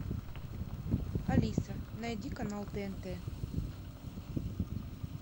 алиса найди канал тнт